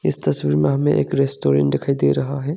इस तस्वीर में हमें एक रेस्टोरेंट दिखाई दे रहा हैं।